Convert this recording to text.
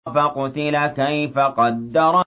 فَقُتِلَ كَيْفَ قَدَّرَ